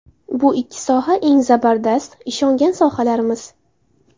Bu ikki soha eng zabardast, ishongan sohalarimiz.